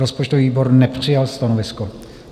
Rozpočtový výbor nepřijal stanovisko.